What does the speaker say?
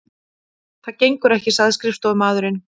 Það gengur ekki sagði skrifstofumaðurinn.